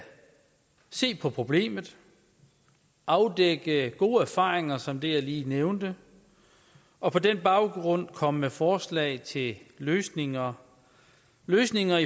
se på problemet afdække gode erfaringer som det jeg lige nævnte og på den baggrund komme med forslag til løsninger løsninger